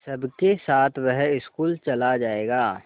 सबके साथ वह स्कूल चला जायेगा